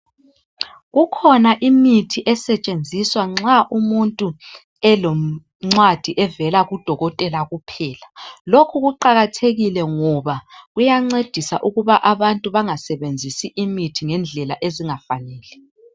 Kukhona imithi esetshenziswa nxa umuntu elencwadi evela kudokotela kuphela. Lokhu kuqakathekile ngoba kuyancedisa ukuba abantu bangasebenzisi imithi ngendlela ezingafanele.